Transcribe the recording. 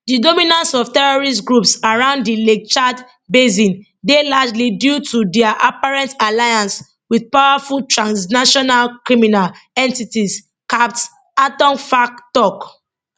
di dominance of terrorist groups around di lake chad basindey largely due to dia apparent alliance wit powerful transnational criminal entities capt atonfack tok